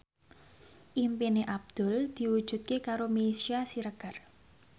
impine Abdul diwujudke karo Meisya Siregar